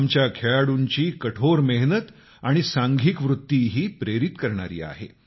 आमच्या खेळाडुंची कठोर मेहनत आणि सांघिक वृत्ती ही प्रेरित करणारी आहे